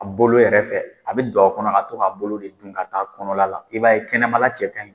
A bolo yɛrɛ fɛ, a bɛ do a kɔnɔ ka to k'a bolo de don ka taa kɔnɔ la, i b'a ye kɛnɛmala cɛ kan ɲin.